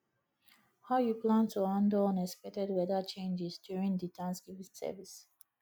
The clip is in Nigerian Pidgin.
how you plan to handle unexpected weather changes during di thanksgiving service